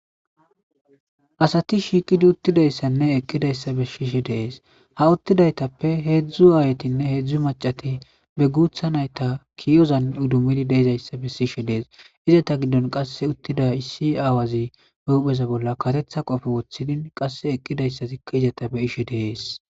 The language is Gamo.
Asati shiiqidi uttidayssanne eqqidayssa be shiishe deees ha uttidaytappe heedzdzu aayatinne heedzdzu macati be guutha nayta kiyozan udumidi deezayssa be sishe dees izata giddon qasse uttida issi aawazi beupheza bolla katetha qofe woththidin qasse eqqidayssa zikka izata be ishe deees.